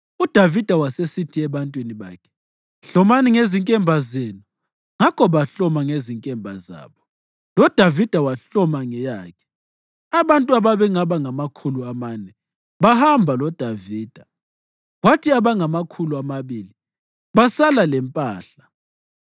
UDavida wasesithi ebantwini bakhe, “Hlomani ngezinkemba zenu!” Ngakho bahloma ngezinkemba zabo, loDavida wahloma ngeyakhe. Abantu ababengaba ngamakhulu amane bahamba loDavida, kwathi abangamakhulu amabili basala lempahla.